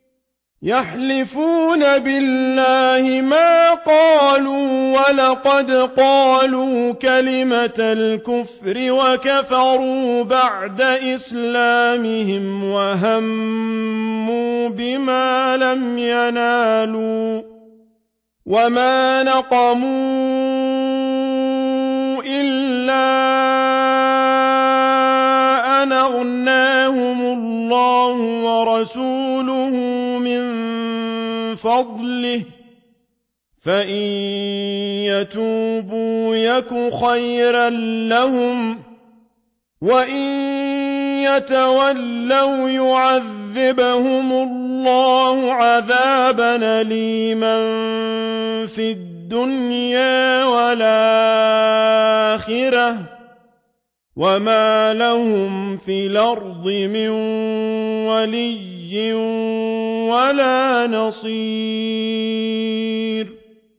يَحْلِفُونَ بِاللَّهِ مَا قَالُوا وَلَقَدْ قَالُوا كَلِمَةَ الْكُفْرِ وَكَفَرُوا بَعْدَ إِسْلَامِهِمْ وَهَمُّوا بِمَا لَمْ يَنَالُوا ۚ وَمَا نَقَمُوا إِلَّا أَنْ أَغْنَاهُمُ اللَّهُ وَرَسُولُهُ مِن فَضْلِهِ ۚ فَإِن يَتُوبُوا يَكُ خَيْرًا لَّهُمْ ۖ وَإِن يَتَوَلَّوْا يُعَذِّبْهُمُ اللَّهُ عَذَابًا أَلِيمًا فِي الدُّنْيَا وَالْآخِرَةِ ۚ وَمَا لَهُمْ فِي الْأَرْضِ مِن وَلِيٍّ وَلَا نَصِيرٍ